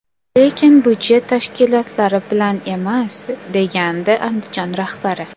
Lekin budjet tashkilotlari bilan emas”, degandi Andijon rahbari.